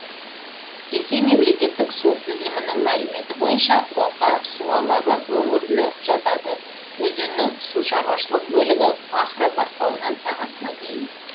ресей мемлекеттік су тізілімінің мәліметі бойынша ока су алабы өңіріне жатады өзеннің сушаруашылық бөлігі пахра бастауынан сағасына дейін